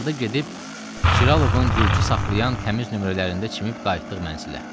Axırda gedib Çiralovun gürcü saxlayan təmiz nömrələrində çimib qayıtdıq mənzilə.